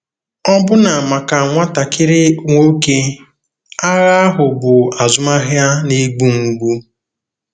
Ọbụna maka nwatakịrị nwoke, agha ahụ bụ azụmahịa na-egbu mgbu.